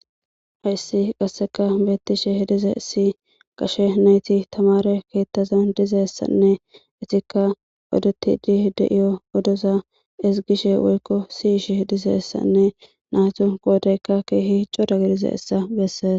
Hayssi qasseka beettishe dizayssi gashe nayti tamaare keettazan dizayssanne etikka odettidi de7iyo odoza ezggishe woykko si7ishe dizayssanne naatu qoodaykka keehi cora gidizayssa bessees